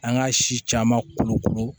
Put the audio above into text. An ka si caman kolokolo